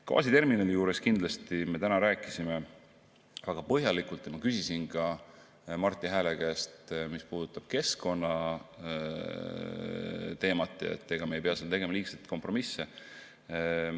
Gaasiterminalist räägiti täna väga põhjalikult ja ma küsisin Marti Hääle käest ka keskkonnateema kohta – ega me ei pea seal tegema liigseid kompromisse.